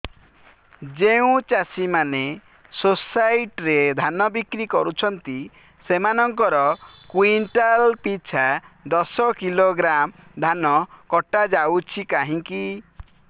ଯେଉଁ ଚାଷୀ ମାନେ ସୋସାଇଟି ରେ ଧାନ ବିକ୍ରି କରୁଛନ୍ତି ସେମାନଙ୍କର କୁଇଣ୍ଟାଲ ପିଛା ଦଶ କିଲୋଗ୍ରାମ ଧାନ କଟା ଯାଉଛି କାହିଁକି